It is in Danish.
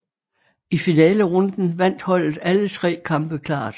I finalerunden vandt holdet alle tre kampe klart